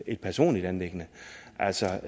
et personligt anliggende altså